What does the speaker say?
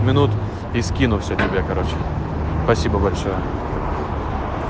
минуту и скину все тебе короче спасибо большое